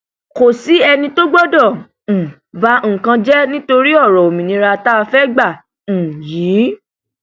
kò sí ẹni tó gbọdọ um ba nǹkan jẹ nítorí ọrọ òmìnira tá a fẹẹ gbà um yìí